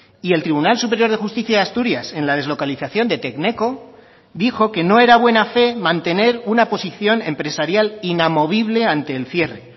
y el tribunal superior de justicia de asturias en la deslocalización de tecneco dijo que no era buena fe mantener una posición empresarial inamovible ante el cierre